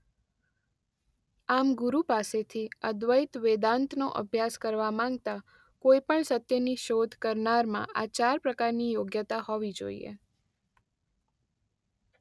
આમ ગુરુ પાસેથી અદ્વૈત વેદાંતનો અભ્યાસ કરવા માંગતા કોઇપણ સત્યની શોધ કરનારમાં આ ચાર પ્રકારની યોગ્યતા હોવી જોઇએ.